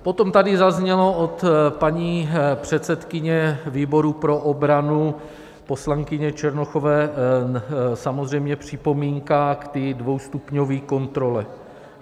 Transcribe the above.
Potom tady zazněla od paní předsedkyně výboru pro obranu poslankyně Černochové samozřejmě připomínka k té dvoustupňové kontrole.